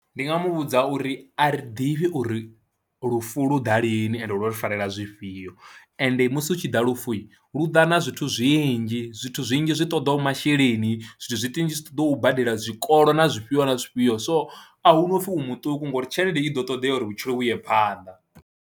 Ndi nga mu vhudza uri a ri ḓivhi uri lufu lu ḓa lini ende ḽo ri farela zwifhio ende musi hu tshi ḓa lufu lu ḓa na zwithu zwinzhi, zwithu zwinzhi zwi ṱoḓaho masheleni, zwithu zwinzhi zwi ṱoḓa u badela zwikolo na zwifhio na zwifhio so a hu na u pfhi u muṱuku ngouri tshelede i ḓo ṱoḓea uri vhutshilo vhu ye phanḓa.